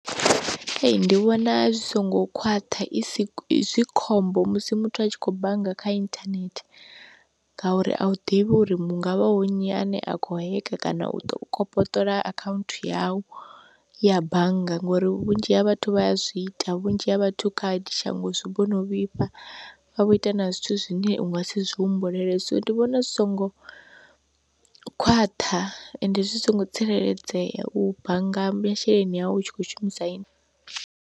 Ndi vhona zwi songo khwaṱha isi zwi khombo musi muthu a tshi khou bannga kha inthanethe, ngauri a u ḓivhi uri mu ngavha wu nnyi a ne a kho heka kana u kopoṱola akhaunthu yau ya bannga ngori vhunzhi ha vhathu vha a zwi ita vhunzhi ha vhathu khadi shango zwi vhono vhifha vha vho ita na zwithu zwine unga si zwi humbulele, so ndi vhona zwi songo khwaṱha ende zwi songo tsireledzea u bannga masheleni au u tshi kho shumisa ini.